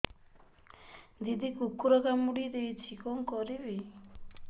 ଦିଦି କୁକୁର କାମୁଡି ଦେଇଛି କଣ କରିବି